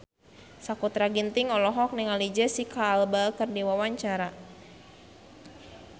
Sakutra Ginting olohok ningali Jesicca Alba keur diwawancara